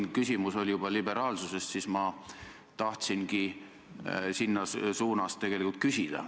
Aga küsimus oli liberaalsuse kohta ja ma tahtsingi selles suunas küsida.